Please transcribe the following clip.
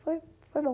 Foi foi bom.